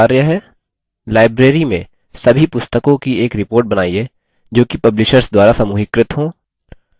library में सभी पुस्तकों की एक report बनाइए जोकि publishers द्वारा समूहीकृत हों